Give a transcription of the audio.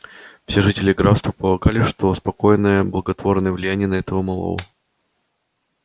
все жители графства полагали что спокойная благотворное влияние на этого малого